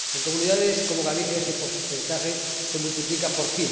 En comunidades como Galicia, ese porcentaje se multiplica por